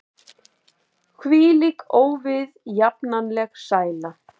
Hvílík óviðjafnanleg sæla!